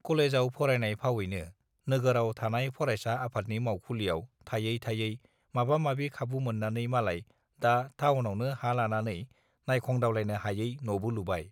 कलेजआव फरायनाय फावैनो नोगोराव थानाय फरायसा आफादनि मावखुलियाव थायै थायै माबा माबि खाबु मोन्नानै मालाय दा थाउनावनो हा लानानै नायखंदावलायनो हायै नबो लुबाय